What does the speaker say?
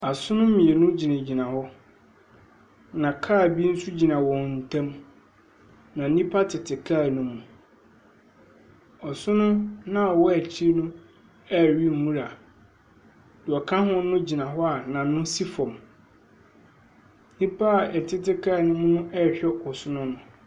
Asono mienu gyinagyina hɔ, na kaa bi so gyina wɔn tem, na nipa tete kaa ne mu. Ɔsono naa ɔwɔ ekyi no ɛɛwe nwura, niɛ ɔka ho no gyina hɔ a n'ano si fɔm. Nipa ɛtete kaa nim no ɛɛhwɛ ɔsono no.